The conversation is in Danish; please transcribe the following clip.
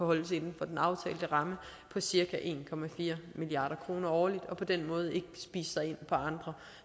holdes inden for den aftalte ramme på cirka en milliard kroner årligt og på den måde ikke spise sig ind på andre